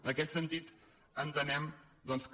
en aquest sentit entenem doncs que